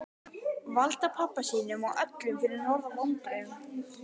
Valda pabba sínum og öllum fyrir norðan vonbrigðum.